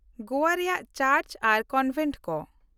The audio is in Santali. ᱜᱳᱣᱟ ᱨᱮᱭᱟᱜ ᱪᱟᱨᱪ ᱟᱨ ᱠᱚᱱᱵᱮᱱᱴ ᱠᱚ